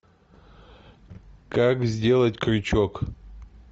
как сделать крючок